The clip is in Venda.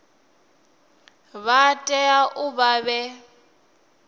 vha tea u vha vhe